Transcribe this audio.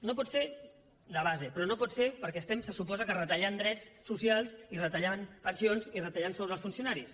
no pot ser de base però no pot ser perquè estem se suposa que retallant drets socials i retallant pensions i retallant sous als funcionaris